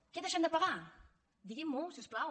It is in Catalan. què deixem de pagar diguin m’ho si us plau